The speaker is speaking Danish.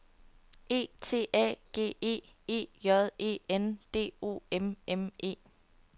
E T A G E E J E N D O M M E